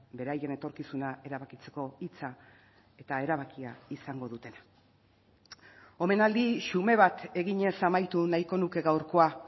beraien etorkizuna erabakitzeko hitza eta erabakia izango dutena omenaldi xume bat eginez amaitu nahiko nuke gaurkoa